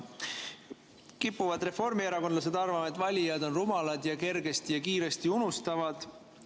Reformierakondlased kipuvad arvama, et valijad on rumalad ning kergesti ja kiiresti unustavad.